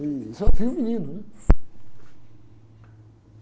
Eu só viu o menino, né?